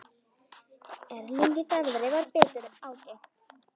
Erlingi Garðari varð betur ágengt.